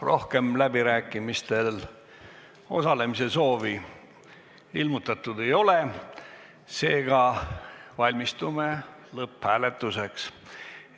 Rohkem läbirääkimistel osalemise soovi ilmutatud ei ole, seega valmistume lõpphääletuseks.